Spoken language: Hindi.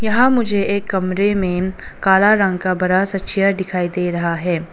वहां मुझे कमरे में काला रंग का बड़ा सा चेयर दिखाई दे रहा है।